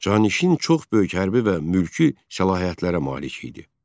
Canişin çox böyük hərbi və mülki səlahiyyətlərə malik idi.